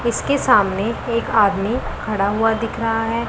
इसके सामने एक आदमी खड़ा हुआ दिख रहा है।